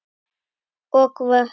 og vötn.